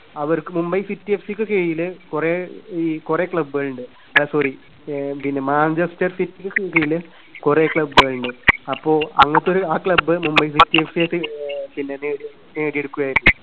അവർക്കു മുംബൈ സിറ്റി എഫ്സിക്കു കീഴില് കുറെ ഈ കുറെ club കളുണ്ട്. ആ Sorry ആഹ് പിന്നെ മാഞ്ചസ്റ്റർ സിറ്റിക്കു കീഴില് കുറെ club കളുണ്ട്. അപ്പോ അങ്ങനത്തെ ഒരു ആ ക്ലബ്, മുംബൈ സിറ്റി എഫ് സിയായിട്ട് ആഹ് പിന്നെ നേടി~നേടിയെടുക്കുകയായിരുന്നു.